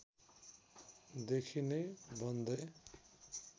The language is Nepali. देखि नै बन्दै